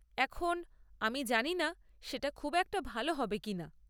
এখন, আমি জানি না সেটা খুব একটা ভালো হবে কিনা।